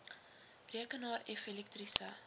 rekenaar f elektriese